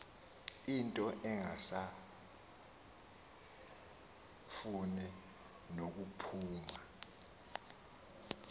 into engasafuni nokuphuma